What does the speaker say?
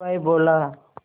हलवाई बोला